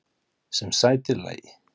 Sem sætir lagi.